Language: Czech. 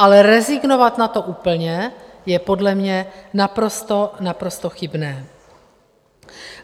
Ale rezignovat na to úplně je podle mě naprosto, naprosto chybné.